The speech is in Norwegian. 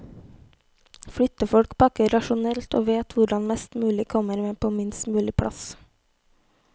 Flyttefolk pakker rasjonelt og vet hvordan mest mulig kommer med på minst mulig plass.